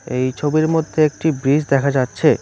এই ছবির মধ্যে একটি ব্রিজ দেখা যাচ্ছে।